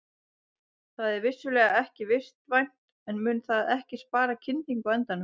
Það er vissulega ekki vistvænt en mun það ekki spara kyndingu á endanum?